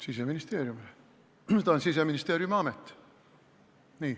Siseministeeriumile, ta on Siseministeeriumi amet.